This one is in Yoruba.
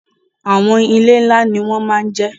Àwọn ilé ńlá ni wọ́n ma ń jẹ́.